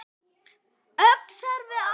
Öxar við ána